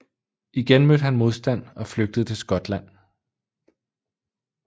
Igen mødte han modstand og flygtede til Skotland